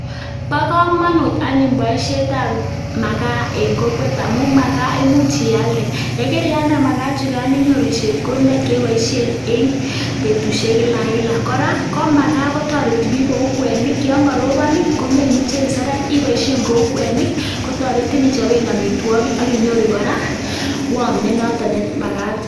Bo kamanut anyun boisietab makaa eng kokwet amu makaa imuch ialde yekarialde makaa chikan inyoru chepkondok che iboise eng betusiek kilakila. Kora ko makaa kotoreti bik kou kwenik yon korobon komemuchi iseret iboishen kou kwenik kotoretin ichoben amitwogik ak inyoru kora warm nenotok nemakat.